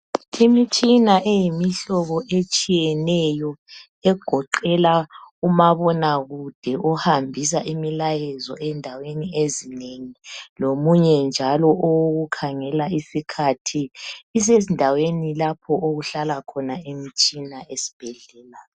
Imitshina eyimihlobo etshiyeneyo egoqela umabonakude ohambisa imilayezo endaweni ezinengi lomunye owokukhangela isikhathi isendaweni lapho ehlala khona esibhedlela.